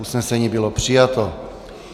Usnesení bylo přijato.